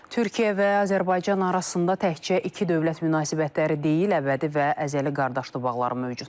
Türkiyə və Azərbaycan arasında təkcə iki dövlət münasibətləri deyil, əbədi və əzəli qardaşlıq bağları mövcuddur.